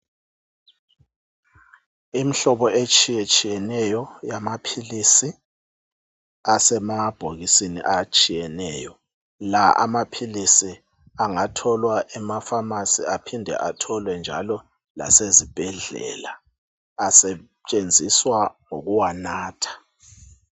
Imihlobo etshiyetshiyeneyo yama philisi asemabhokisini atshiyeneyo la amaphilisi angatholwa ema Famasi aphindwe atholwe njalo lasezi bhedlela , asentshenziswa ukuwanatha.